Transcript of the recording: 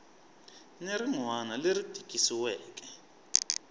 ni rin wana leri tikisiweke